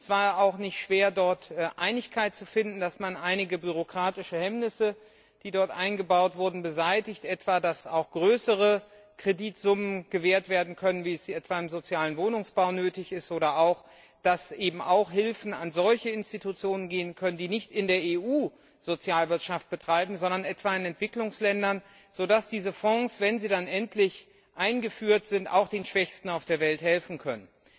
Es war auch nicht schwer, dort Einigkeit darüber zu erzielen, dass man einige bürokratische Hemmnisse, die dort eingebaut wurden, beseitigt etwa dass auch größere Kreditsummen gewährt werden können, wie es etwa im sozialen Wohnungsbau nötig ist, oder auch, dass Hilfen an solche Institutionen gehen können, die nicht in der EU Sozialwirtschaft betreiben, sondern etwa in Entwicklungsländern, sodass diese Fonds wenn sie dann endlich eingeführt sind auch den Schwächsten auf der Welt helfen können.